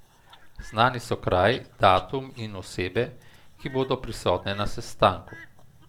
Znani so kraj, datum in osebe, ki bodo prisotne na sestanku!